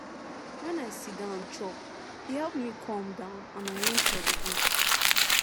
when i siddon chop e help me calm down and arrange for the day